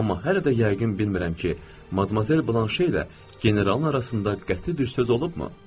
Amma hələ də yəqin bilmirəm ki, Madmazel Blanşe ilə generalın arasında qəti bir söz olubmu?